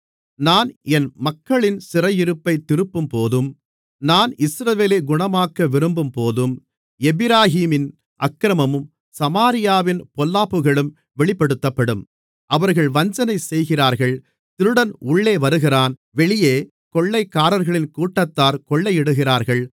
நான் என் மக்களின் சிறையிருப்பைத் திருப்பும்போதும் நான் இஸ்ரவேலை குணமாக்க விரும்பும்போதும் எப்பிராயீமின் அக்கிரமமும் சமாரியாவின் பொல்லாப்புகளும் வெளிப்படுத்தப்படும் அவர்கள் வஞ்சனை செய்கிறார்கள் திருடன் உள்ளே வருகிறான் வெளியே கொள்ளைக்காரர்களின் கூட்டத்தார் கொள்ளையிடுகிறார்கள்